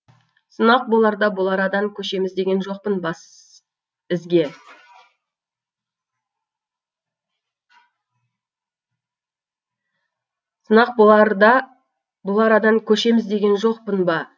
сынақ боларда бұл арадан көшеміз деген жоқпын басізге